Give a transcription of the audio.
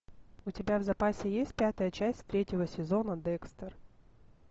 у тебя в запасе есть пятая часть третьего сезона декстер